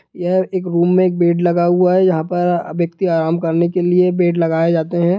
यह एक रूम मै एक बेड लगा हुआ है यहाँ पर व्यक्ति के आराम करने के लिए बेड लगाए जाते हैं।